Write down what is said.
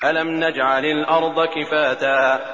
أَلَمْ نَجْعَلِ الْأَرْضَ كِفَاتًا